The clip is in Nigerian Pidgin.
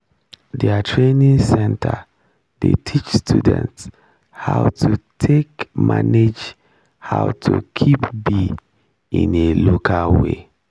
der training center dey teach students how to take manage how to keep bee in a local way